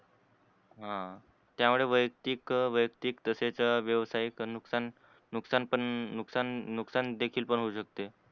ह, त्यामुळे वैयक्तिक वैयक्तिक तसेच व्यावसायिक नुकसान, नुकसान पण नुकसान, नुकसान देखील पण होऊ शकते.